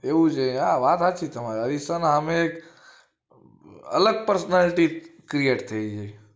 એવું છે હા વાત હાચી તમારી અરીસાના હામે એક અલગ personality create થઈ જઈ